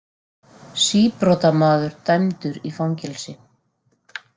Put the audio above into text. Síbrotamaður dæmdur í fangelsi